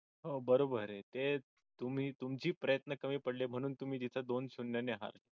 हो बरोबर आहे तेच तुम्ही तुमचे प्रयत्न कमी पडले म्हणून तुम्ही तिथं दोन शून्य ने आहात